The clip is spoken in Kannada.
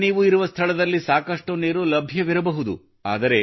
ಈಗ ನೀವು ಇರುವ ಸ್ಥಳದಲ್ಲಿ ಸಾಕಷ್ಟು ನೀರು ಲಭ್ಯವಿರಬಹುದು